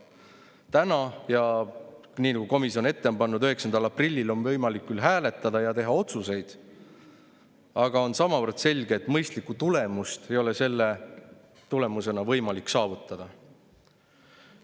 Täna, ja nii nagu komisjon ette on pannud, 9. aprillil on võimalik küll hääletada ja teha otsuseid, aga on samavõrd selge, et mõistlikku tulemust ei ole sellega võimalik saavutada.